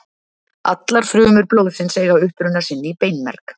Allar frumur blóðsins eiga uppruna sinn í beinmerg.